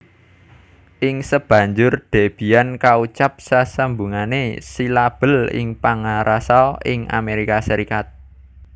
Ing sabanjur Debian kaucap sesambungané silabel ingpangrasa Inggris Amerika